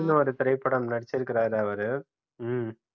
இந்த மாதிரி திரைப்படம் நடிச்சிருக்காரு அவரு ம்ம்